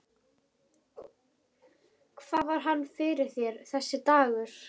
Rósmundur, heyrðu í mér eftir níutíu og níu mínútur.